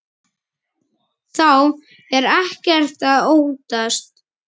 Þá er ekkert að óttast.